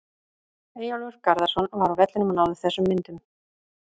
Eyjólfur Garðarsson var á vellinum og náði þessum myndum.